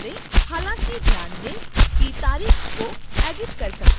हालांकि ध्यान दें कि तारीख को एडिट कर सकते हैं